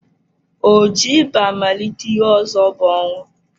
O ji ịba malite, ihe ọzọ bụ ọnwụ.